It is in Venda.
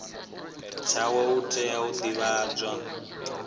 tshawe u tea u divhadzwa